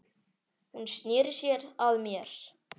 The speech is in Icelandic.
Hún sneri sér að mér.